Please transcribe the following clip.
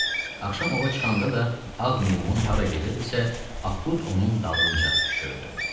Axşam ova çıxanda da ağ meymun hara gedirdisə, Akut onun dalınca düşürdü.